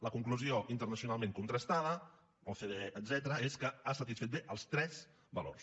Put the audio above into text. la conclusió internacionalment contrastada ocde etcètera és que ha satisfet bé els tres valors